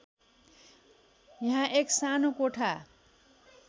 यहाँ एक सानो कोठा